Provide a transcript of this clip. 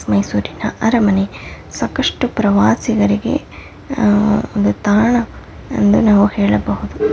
ಮೈಸೂರಿನ ಅರಮನೆ ಸಾಕಷ್ಟ್ಟು ಪ್ರವಾಸಿಗರಿಗೆ ಆಹ್ ಒಂದು ತಾಣ ಎಂದು ನಾವು ಹೇಳಬಹುದು.